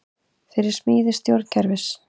Fyrir smíði stjórnkerfis